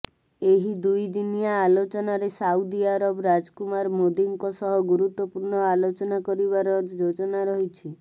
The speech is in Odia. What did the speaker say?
ଏହି ଦୁଇ ଦିନିଆ ଆଲୋଚନାରେ ସାଉଦି ଆରବ ରାଜକୁମାର ମୋଦିଙ୍କ ସହ ଗୁରୁତ୍ୱପୂର୍ଣ୍ଣ ଆଲୋଚନା କରିବାର ଯୋଜନାରହିଛି